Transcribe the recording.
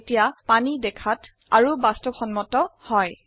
এতিয়া পানী দেখাত আৰু বাস্তবসম্মত হয়160